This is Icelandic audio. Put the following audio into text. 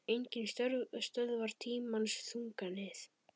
Enginn stöðvar tímans þunga nið